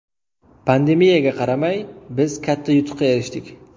Pandemiyaga qaramay, biz katta yutuqqa erishdik.